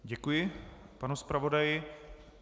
Děkuji panu zpravodaji.